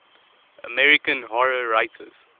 american horror writers